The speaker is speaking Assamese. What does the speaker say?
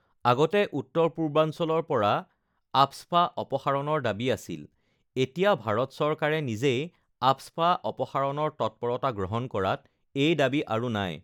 আগতে উত্তৰ পূৰ্বাঞ্চলৰ পৰা আফস্পা অপসাৰণৰ দাবী আছিল, এতিয়া ভাৰত চৰকাৰে নিজেই আফস্পা অপসাৰণৰ তৎপৰতা গ্ৰহণ কৰাত এই দাবী আৰু নাই